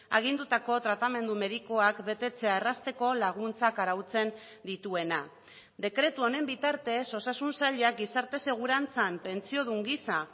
agindutako tratamendu medikuak betetzea errazteko laguntzak arautzen dituena dekretu honen bitartez osasun sailak gizarte segurantzan pentsiodun gisa